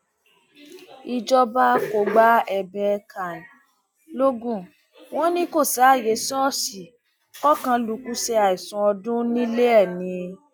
ìjọba kò gba ẹbẹ can logun wọn ni kò sáàyè ṣọọṣì kọkànlukú ṣe àìsùn ọdún nílé ẹ ni